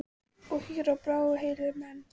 Og hýr á brá og heillar menn.